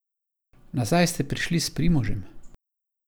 Nazaj ste prišli s Primožem?